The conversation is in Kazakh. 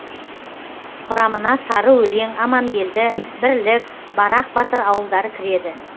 құрамына сарыөлең амангелді бірлік барақ батыр ауылдары кіреді